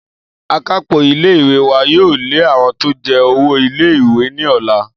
Akápò ilé ìwé wa yóò lé àwo̩n tó je̩ owó ilé ìwé ní ò̩la